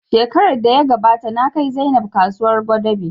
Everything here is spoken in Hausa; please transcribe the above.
Shekarar da ya gabata na kai Zainab kasuwar Gwadabe